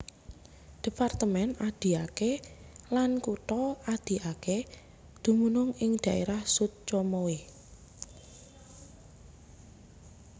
Departemen Adiaké lan Kutha Adiaké dumunung ing dhaérah Sud Comoé